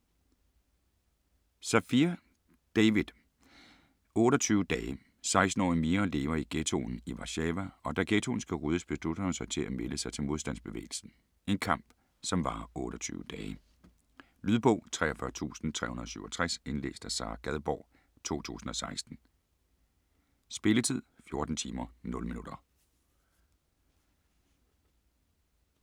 Safier, David: 28 dage 16-årige Mira lever i ghettoen i Warszawa, og da ghettoen skal ryddes, beslutter hun sig at melde sig til modstandsbevægelsen. En kamp, som varer 28 dage. Lydbog 43367 Indlæst af Sara Gadborg, 2016. Spilletid: 14 timer, 0 minutter.